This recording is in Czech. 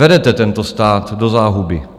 Vedete tento stát do záhuby.